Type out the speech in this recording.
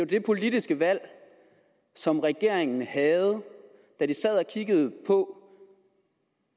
det politiske valg som regeringen havde da de sad og kiggede på